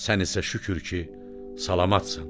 Sən isə şükür ki, salamatçan.